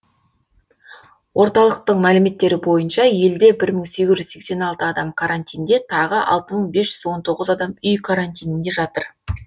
орталықтың мәліметтері бойынша елде бір мың сегіз жүз сексен алты адам карантинде тағы алты мың бес жүз он тоғыз адам үй карантинінде жатыр